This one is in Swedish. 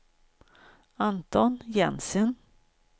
Anton Jensen